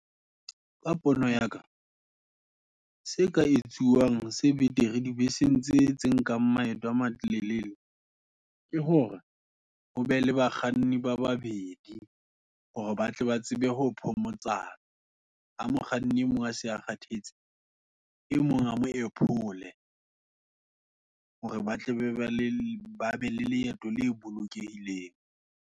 Ka pono yaka, se ka etsuwang se betere, di beseng tse tse nkang maeto a matelele, ke hore, hobe le bakganni ba babedi, hore batle ba tsebe ho phomotsana, ha mokganni, emong a se a kgathetse, e mong a mo ephole. Hore batle bebe le babe le leeto le bolokehileng.